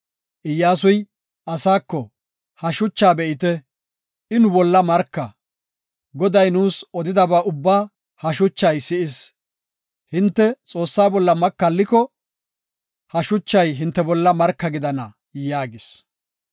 Iyyasuy asaako, “Ha shuchaa be7ite; I nu bolla marka. Goday nuus odidaba ubbaa ha shuchay si7is. Hinte Xoossaa bolla makalliko, ha shuchay hinte bolla marka gidana” yaagis.